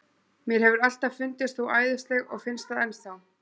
Mér hefur alltaf fundist þú æðisleg og finnst það enn þá.